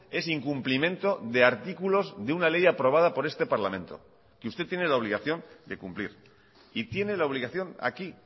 es incumplimiento de artículos de una ley aprobada por este parlamento que usted tiene la obligación de cumplir y tiene la obligación aquí